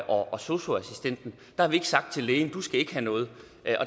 og sosu assistenten der har vi ikke sagt til lægen du skal ikke have noget